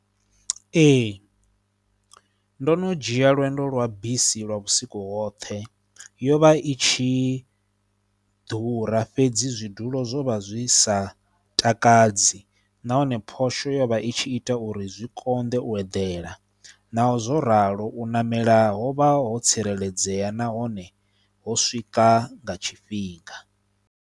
Ee ndo no dzhia lwendo lwa bisi lwa vhusiku hoṱhe, yo vha i tshi ḓura fhedzi zwidulo zwo vha zwi sa takaladzi nahone phosho yo vha i tshi ita uri zwi konḓe u eḓela naho zwo ralo u ṋamela ho vha ho tsireledzea nahone ho swika nga tshifhinga.